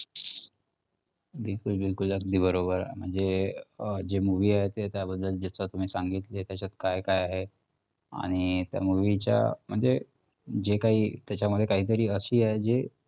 बिलकुल बिलकुल. अगदी बरोबर, म्हणजे अं जे movie आहे त्याबद्दल जसं तुम्ही सांगितलेत त्याच्यात काय काय आहे आणि त्या movie च्या म्हणजे जे काही त्याच्यामध्ये काहीतरी अशी आहे जे